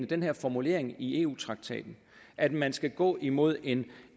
den her formulering i eu traktaten at man skal gå imod en